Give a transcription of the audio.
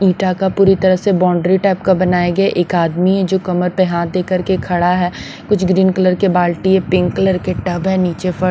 ईटा का पूरी तरह से बाउंड्री टाइप का बनाए गए एक आदमी है जो कमर पर हाथ दे कर के खड़ा है कुछ ग्रीन कलर के बाल्टी है पिंक कलर के टब है नीचे ।